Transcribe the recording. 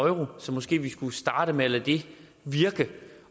euro så måske vi skulle starte med at lade det virke